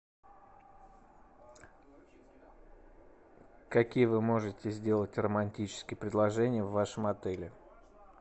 какие вы можете сделать романтические предложения в вашем отеле